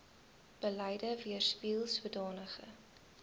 beleid weerspieel sodanige